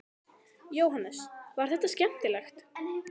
Jóhannes: Var þetta skemmtilegt?